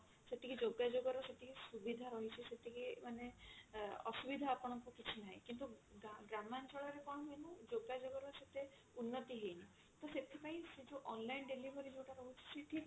ସେତିକି ଯୋଗାଯୋଗ ର ସେତିକି ସୁବିଧା ରହିଛି ସେତିକି ମାନେ ଅ ଅସୁବିଧା ଆପଣଙ୍କୁ କିଛି ନାହିଁ କିନ୍ତୁ ଗା ଗ୍ରାମାଞ୍ଚଳ ରେ କଣ ହୁଏ ନା ଯୋଗା ଯୋଗ ର ସେତେ ଉନ୍ନତି ହେଇନି ତ ସେଥିପାଇଁ ସେ ଯୋ online delivery ଯଉଟା ରହୁଛି ସେଠି